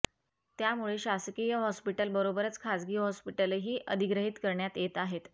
त्यामुळे शासकीय हॉस्पिटल बरोबरच खाजगी हॉस्पिटलही अधिग्रहीत करण्यात येत आहेत